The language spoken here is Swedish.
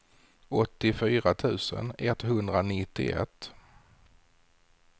åttiofyra tusen etthundranittioett